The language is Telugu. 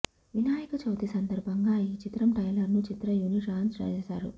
వినాయకచవితి సందర్భంగా ఈ చిత్రం ట్రైలర్ ను చిత్ర యూనిట్ లాంచ్ చేసారు